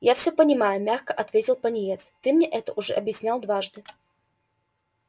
я всё понимаю мягко ответил пониетс ты мне это уже объяснял однажды